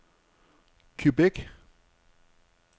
Quebec